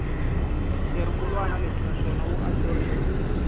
xirungulwana lexi naswona wu ahluriwe